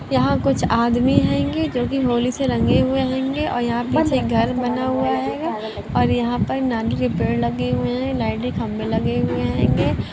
यहां कुछ आदमी हंगे जो की होली से रंगे हुए हेंगे और यहां पर पीछे घर बना हुआ हैगा और यहां पर नारियल के पेड़ लगे हुए है लाइट के खंबे लगे हुए हेंगे।